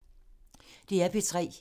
DR P3